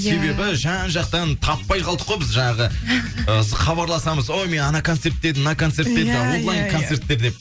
себебі жан жақтан таппай қалдық қой біз жаңағы ы хабарласамыз ой мен ана концертте едім мына концертте едім жаңағы онлайн концерттер деп